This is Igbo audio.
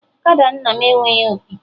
Ọkada nna m enweghị opi